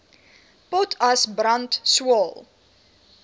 potas brand swael